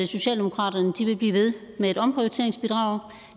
socialdemokratiet vil blive ved med et omprioriteringsbidrag